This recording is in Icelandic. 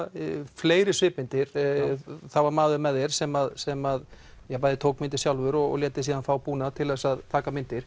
fleiri svipmyndir það var maður með þér sem sem tók myndir sjálfur og lét þig síðan fá búnað til að taka myndir